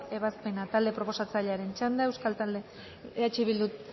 ebazpena talde proposatzailearen txanda eh bildu